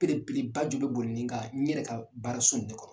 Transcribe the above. Belebele ba ju bɛ boli nin kan n yɛrɛ ka baara so in de kɔnɔ.